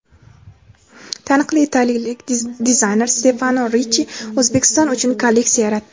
Taniqli italiyalik dizayner Stefano Richchi O‘zbekiston uchun kolleksiya yaratdi.